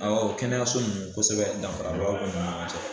Awɔ kɛnɛyaso ninnu kosɛbɛ danfarabaw kɔni b'u ni ɲɔgɔn cɛ.